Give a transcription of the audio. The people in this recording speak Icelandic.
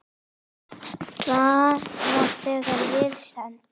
Það var þegar við send